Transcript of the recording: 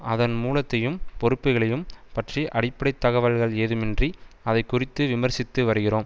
அதன் மூலத்தையும் பொறுப்புகளையும் பற்றி அடிப்படை தகவல்கள் ஏதுமின்றி அதை குறித்து விமர்சித்து வருகிறோம்